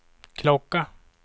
klocka